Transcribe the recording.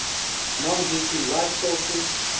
non heating light sources